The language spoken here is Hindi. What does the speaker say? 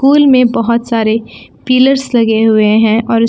कूल में बहुत सारे पिलर्स लगे हुए हैं और--